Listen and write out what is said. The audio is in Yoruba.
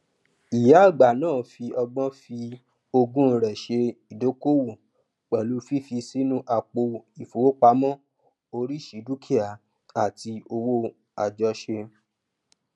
ìyá àgbà náà fi ọgbọn fi ogún rẹ ṣe ìdókòwò pẹlú fífi sínú àpò ìfowópamọsí oríṣi dukia àti òwò àjọṣe